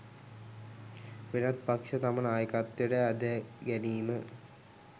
වෙනත් පක්ෂ තම නායකත්වයට ඇදගැනීම